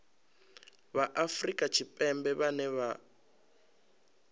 vha afrika tshipembe vhane vha